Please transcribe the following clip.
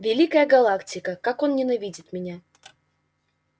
великая галактика как он ненавидит меня